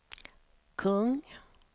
kung